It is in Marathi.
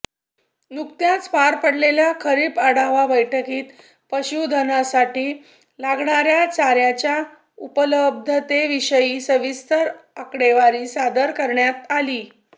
नुकत्याच पार पडलेल्या खरीप आढावा बैठकीत पशुधनासाठी लागणाऱ्या चाऱ्याच्या उपलब्धतेविषयी सविस्तर आकडेवारी सादर करण्यात आली